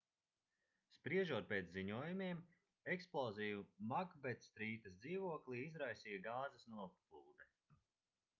spriežot pēc ziņojumiem eksploziju makbetstrītas dzīvoklī izraisīja gāzes noplūde